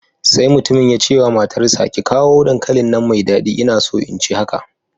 Sai Mutumin ya ce wa matarsa ​​ki kawo dankalin nan mai dadi ina so in ci haka